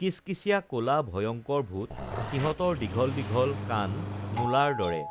কিচকিচিয়া কলা ভয়ঙ্কৰ ভূত সিহঁতৰ দীঘল দীঘল কাণ মূলাৰ দৰে